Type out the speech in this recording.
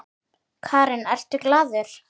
Karen: Ertu glaður?